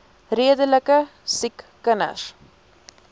redelike siek kinders